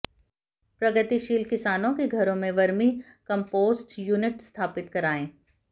प्रगतिशील किसानों के घरों में वर्मी कम्पोस्ट यूनिट स्थापित करायें